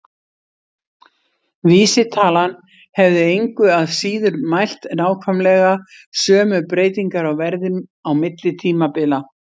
Vísitalan hefði engu að síður mælt nákvæmlega sömu breytingar á verði á milli tímabila.